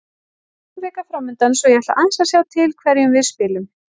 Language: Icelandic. Það er stór vika framundan svo ég ætla aðeins að sjá til hverjum við spilum.